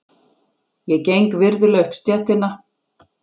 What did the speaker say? Ég geng virðulega upp stéttina.